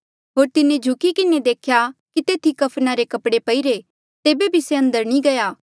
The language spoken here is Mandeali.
होर तिन्हें झुकी किन्हें देख्या कि तेथी कफना रे कपड़े पईरे तेबे भी से अंदर नी गया